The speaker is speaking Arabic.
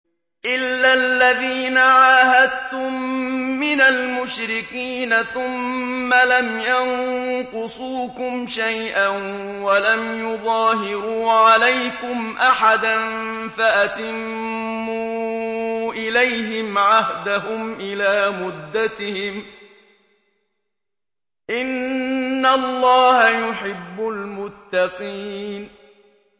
إِلَّا الَّذِينَ عَاهَدتُّم مِّنَ الْمُشْرِكِينَ ثُمَّ لَمْ يَنقُصُوكُمْ شَيْئًا وَلَمْ يُظَاهِرُوا عَلَيْكُمْ أَحَدًا فَأَتِمُّوا إِلَيْهِمْ عَهْدَهُمْ إِلَىٰ مُدَّتِهِمْ ۚ إِنَّ اللَّهَ يُحِبُّ الْمُتَّقِينَ